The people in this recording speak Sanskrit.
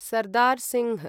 सरदार् सिंह्